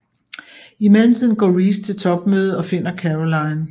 I mellemtiden går Reese til topmødet og finder Caroline